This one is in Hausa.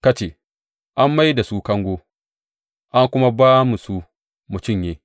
Ka ce, An mai da su kango an kuma ba mu su mu cinye.